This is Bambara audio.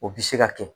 O bi se ka kɛ